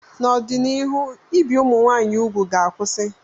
N'ọdịnihu, ibi ụmụ nwanyị úgwù ga-akwụsị.